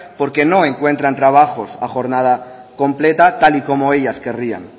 porque no encuentran trabajos a jornada completa tal y como ellas querrían